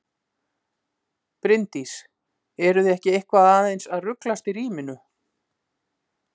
Bryndís: Eruð þið ekki eitthvað aðeins að ruglast í ríminu?